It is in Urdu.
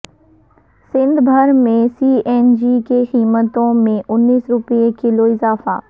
سندھ بھر میں سی این جی کی قیمتوں میں انیس روپے کلو اضافہ